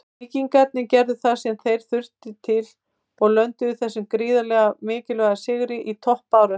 Víkingarnir gerðu það sem til þurfti og lönduðu þessum gríðarlega mikilvæga sigri í toppbaráttunni.